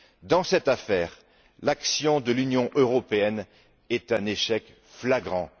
Dans cette affaire, l'action de l'Union européenne est un échec flagrant.